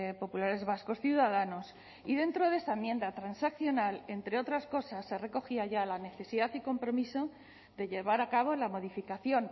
populares vascos ciudadanos y dentro de esa enmienda transaccional entre otras cosas se recogía ya la necesidad y compromiso de llevar a cabo la modificación